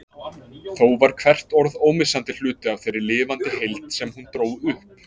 Þó var hvert orð ómissandi hluti af þeirri lifandi heild sem hún dró upp.